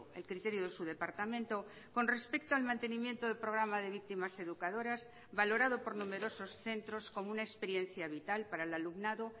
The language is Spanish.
el criterio de su departamento con respecto al mantenimiento del programa de víctimas educadoras valorado por numerosos centros como una experiencia vital para el alumnado